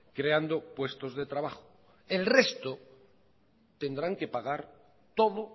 creando puestos de trabajo el resto tendrán que pagar todo